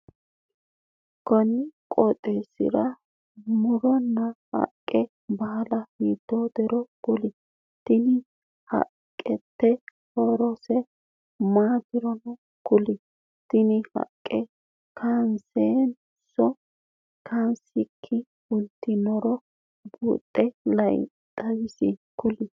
Kunni qooxeesira muronna haqe baala hiiteetiro kuli? Tenne haqenniti horose maatiro kuli? Tinni haqe kaansenanso kaansiki fultinotero buuxe la'e xawise kuli?